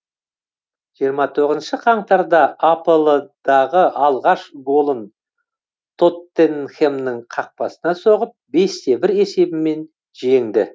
жиырма тоғызыншы қаңтарда апл дағы алғаш голын тоттенхэмнің қақпасына соғып бесте бір есебімен жеңді